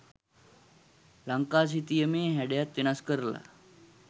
ලංකා සිතියමේ හැඩයත් වෙනස් කරලා